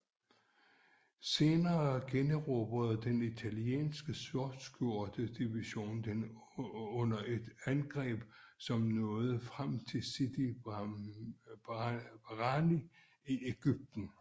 Senere generobrede den italienske Sortskjorte division den under et angreb som nåede frem til Sidi Barrani i Egypten